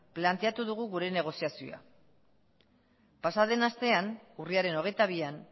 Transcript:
planteatu dugu gure negoziazioa pasa den astea urriaren hogeita bian